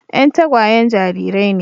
Yan tagwayen jarirai ne.